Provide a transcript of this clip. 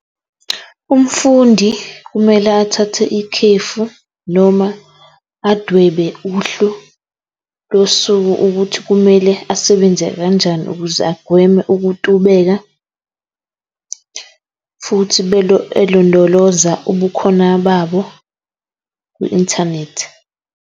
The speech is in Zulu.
Umfundi kumele athathe ikhefu noma adwebe uhlu losuku ukuthi kumele asebenze kanjani ukuze agweme ukutubeka futhi elondoloza ubukhona babo kwi-inthanethi.